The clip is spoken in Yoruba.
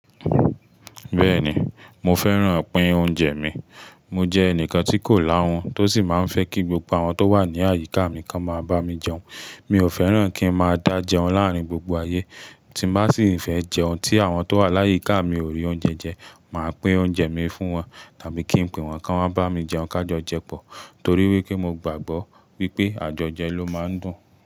Bẹ́ẹ̀ni, mo fẹ́ràn pin oúnjẹ mi. Mo jẹ́ ẹnìkan tí kò láhun tó sì máa ń fẹ́ kí gbogbo àwọn tó wà ní àyíká mi kan máa bá mi jẹun. Mi ò fẹ́ràn kí n máa dá jẹun láàrín gbogbo ayé. Tí m bá sì fẹ́ jẹun tí àwọn tó wà láyíká mi ò rí oúnjẹ jẹ, màá pín oúnjẹ mi fún wọn tàbí kí n pe wọn kí wọ́n máa bá mi jẹun ká jọ jẹ pọ torí wípé mo gbàgbọ́ wípé àjọjẹ ló máa ń dùn.